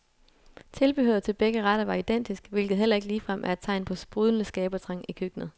Tilbehøret til begge retter var identisk, hvilket heller ikke ligefrem er et tegn på sprudlende skabertrang i køkkenet.